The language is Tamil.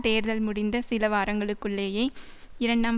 தேர்தல் முடிந்த சில வாரங்களுக்குள்ளேயே இரண்டாம்